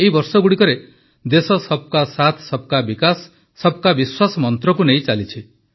ଏହି ବର୍ଷଗୁଡ଼ିକରେ ଦେଶ ସବକା ସାଥ୍ ସବକା ବିକାଶ ସବକା ବିଶ୍ୱାସ ମନ୍ତ୍ରକୁ ନେଇ ଚାଲିଛି